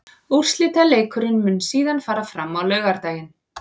Úrslitaleikurinn mun síðan fara fram á laugardaginn.